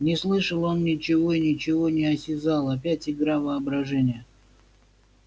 не слышал он ничего и ничего не осязал опять игра воображения